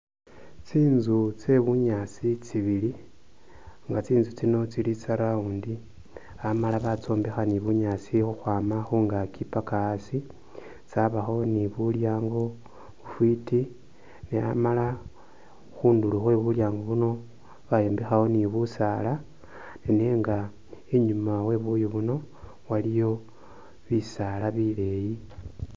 Tsinzu tye bunyasi tsibili nga tsinzu tsino tsili tsa round amala batsombekha ni bunyasi ukhwama khungakyi paka asii , tsabakho ni bulyango bufiti amala khunduro khwe bulyango buno bayombekhakho ni busala nenga inyuma we buyu buno waliyo bisala bileyi .